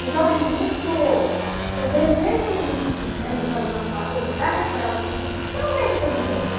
Então, assim, juntou o desejo que a gente tinha de fazer alguma coisa para recuperar o filho, não para ele ser impune.